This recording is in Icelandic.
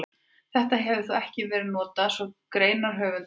Þetta hefur þó ekki verið notað svo greinarhöfundur þekki til.